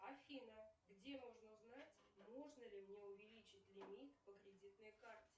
афина где можно узнать можно ли мне увеличить лимит по кредитной карте